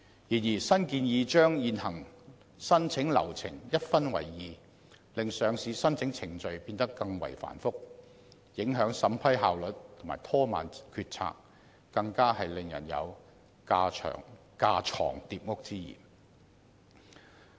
然而，新建議將現行申請流程一分為二，令上市申請程序變得更為繁複，影響審批效率及拖慢決策，更令人感到有架床疊屋之嫌。